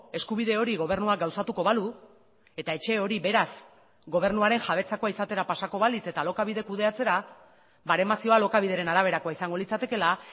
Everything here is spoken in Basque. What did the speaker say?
eskubide hori gobernuak gauzatuko balu eta etxe hori beraz gobernuaren jabetzakoa izatera pasako balitz eta alokabide kudeatzera baremazioa alokabideren araberakoa izango litzatekeela